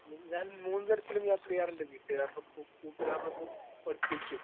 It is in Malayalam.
സ്പീക്കർ 1 ഞാൻ മൂന്ന് തരത്തിലും യാത്ര ചെയ്യാറുണ്ട്. വീട്ടുകാരടൊപ്പവും, കൂട്ടുകാരടൊപ്പവും, ഒറ്റക്കും.